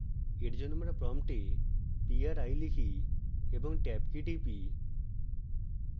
for জন্য আমরা prompt pri type এবং ট্যাব key type